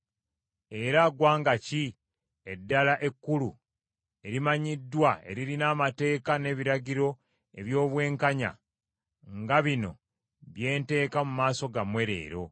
Era ggwanga ki eddala ekkulu erimanyiddwa eririna amateeka n’ebiragiro eby’obwenkanya nga bino bye nteeka mu maaso gammwe leero?